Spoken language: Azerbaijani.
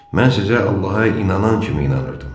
Mən sizə Allaha inanan kimi inanırdım.